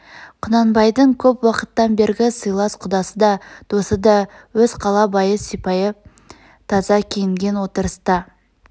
құнанбайдың көп уақыттан бергі сыйлас құдасы да досы да өз қала байы сыпайы таза киінген отырыста